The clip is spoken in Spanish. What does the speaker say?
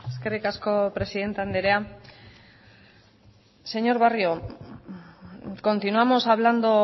eskerrik asko presidente andrea señor barrio continuamos hablando